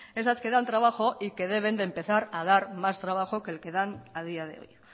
esas que dan trabajo y que deben de empezar a dar más trabajo que el que dan a día de hoy